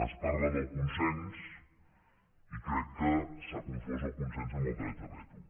es parla del consens i crec que s’ha confós el consens amb el dret de veto